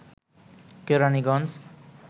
Keraniganj